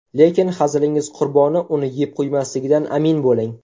Lekin hazilingiz qurboni uni yeb qo‘ymasligidan amin bo‘ling.